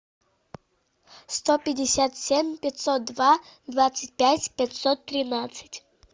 сто пятьдесят семь пятьсот два двадцать пять пятьсот тринадцать